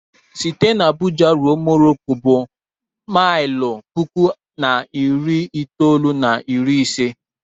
Site n'Abuja ruo Morocco bụ maịlụ puku na narị itoolu na iri ise